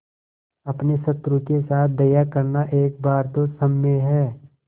अपने शत्रु के साथ दया करना एक बार तो क्षम्य है